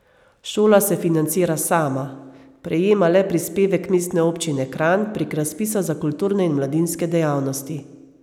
Šola se financira sama, prejema le prispevek Mestne občine Kranj prek razpisa za kulturne in mladinske dejavnosti.